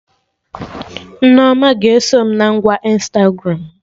Nneoma ga-eso m na ngwa Ịnstagramụ